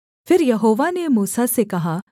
फिर यहोवा ने मूसा से कहा